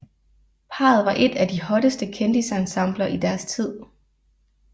Parret var et af de hotteste kendisensembler i deres tid